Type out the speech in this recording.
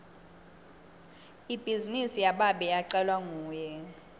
ibhizinisi yababe yacalwa nguye